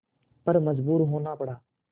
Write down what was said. पर मजबूर होना पड़ा